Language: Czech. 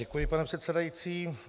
Děkuji, pane předsedající.